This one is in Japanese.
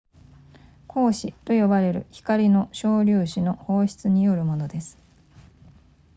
光子と呼ばれる光の小粒子の放出によるものです